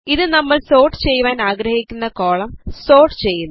ഇത് നമ്മൾ സോർട്ട് ചെയ്യുവാൻ ആഗ്രഹിക്കുന്ന കോളം സോർട്ട് ചെയ്യുന്നു